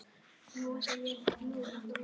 Þá var verslun hans orðin gjaldþrota.